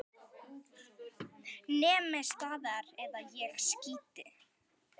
Nemið staðar eða ég skýt!